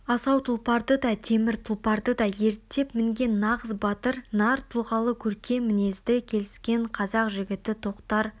асау тұлпарды да темір тұлпарды да ерттеп мінген нағыз батыр нар тұлғалы көркем мінезді келіскен қазақ жігіті тоқтар